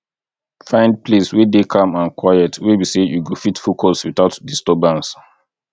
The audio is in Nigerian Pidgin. find place wey dey calm and quiet wey be sey you go fit focus without disturbance